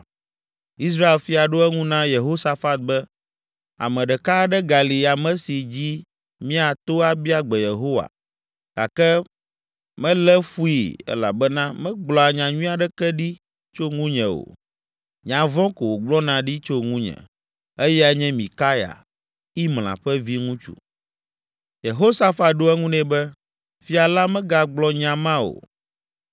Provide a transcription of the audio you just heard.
Israel fia ɖo eŋu na Yehosafat be, “Ame ɖeka aɖe gali ame si dzi míato abia gbe Yehowa gake melé fui elabena megblɔa nyanyui aɖeke ɖi tso ŋunye o; nya vɔ̃ ko wògblɔna ɖi tso ŋunye. Eyae nye Mikaya, Imla ƒe viŋutsu.” Yehosafat ɖo eŋu nɛ be, “Fia la megagblɔ nya ma o.”